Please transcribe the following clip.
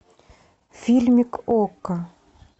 фильмик окко